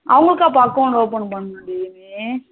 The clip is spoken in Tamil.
அவங்களுக்காக account open பண்ணணும்டி நீ